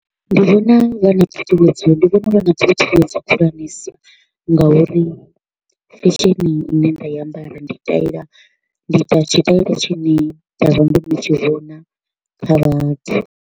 Ndi vhona vha na ṱhuṱhuwedzo ndi vhona vha na ṱhuṱhuwedzo khulwanesa ngauri fashion ine nda i ambara ndi taila ndi ita tshitaila tshine nda vha ndo no tshi vhona kha vhathu.